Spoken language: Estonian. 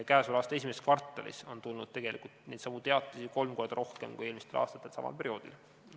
Käesoleva aasta esimeses kvartalis on tulnud tegelikult neidsamu teatisi kolm korda rohkem kui eelmistel aastatel samal perioodil.